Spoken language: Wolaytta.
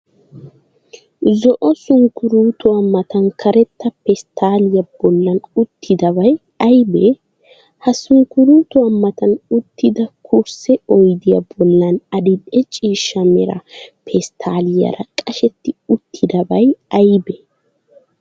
Zo'o sunkkuruutuwa matan karetta pesttaalliya bollan uttidabay ayibee? Ha sunkkuruutuwa matan uttida kursse oyidiya bollan adil"e ciishsha mera pesttaalliyaara qashetti uttidabay ayibee?